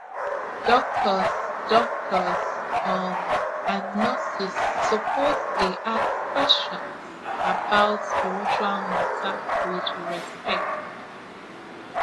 doctors doctors um and nurses suppose dey ask questions about spiritual matter with respect